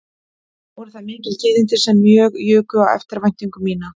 Voru það mikil tíðindi sem mjög juku á eftirvæntingu mína